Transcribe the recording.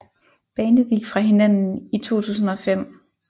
Bandet gik fra hinanden i 2005